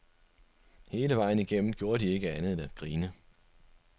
Hele vejen igennem gjorde de ikke andet end at grine.